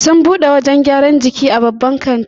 Sun bude wajan gyran jiki a babban katin